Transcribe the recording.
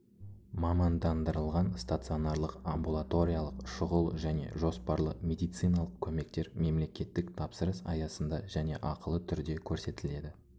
мамандандырылған стационарлық амбулаториялық шұғыл және жоспарлы медициналық көмектер мемлекеттік тапсырыс аясында және ақылы түрде көрсетіледі